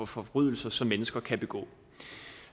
forbrydelser som mennesker kan begå